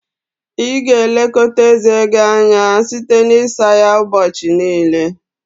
Ị ga-elekọta eze gị anya site n'isa ya ụbọchị niile